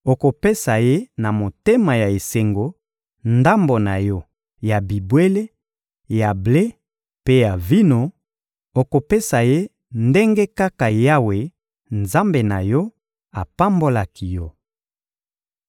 okopesa ye na motema ya esengo ndambo na yo ya bibwele, ya ble mpe ya vino; okopesa ye ndenge kaka Yawe, Nzambe na yo, apambolaki yo.